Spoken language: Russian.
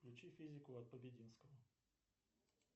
включи физику от побединского